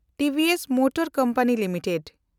TVS motor company limited